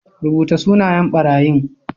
Rubuta sunayen ɓarayin